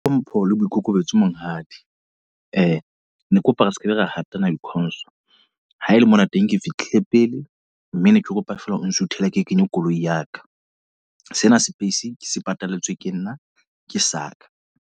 Hlompho le boikokobetso Monghadi. Ne ke kopa re sekebe ra hatanang haele mona teng ke fihle pele. Mme ne ke kopa feela o nsuthele ke kenye koloi ya ka. Sena space ke se patalletswe ke nna, ke saka.